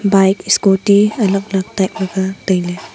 bike scooty alak alak type aga tai le.